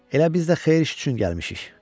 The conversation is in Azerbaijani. Elə biz də xeyir iş üçün gəlmişik.